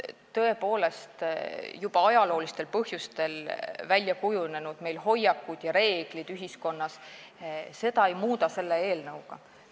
Tõepoolest, juba ajaloolistel põhjustel väljakujunenud ühiskondlikke hoiakuid ja reegleid me selle eelnõuga ei muuda.